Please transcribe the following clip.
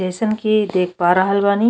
जइसन की देख पा रहल बानी --